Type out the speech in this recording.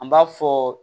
An b'a fɔ